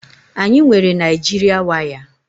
Anyị nwere Naijịrịa waya